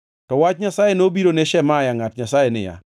To wach Jehova Nyasaye nobiro ne Shemaya ngʼat Nyasaye niya: